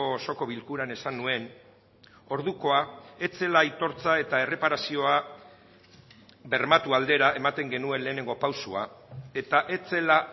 osoko bilkuran esan nuen ordukoa ez zela aitortza eta erreparazioa bermatu aldera ematen genuen lehenengo pausoa eta ez zela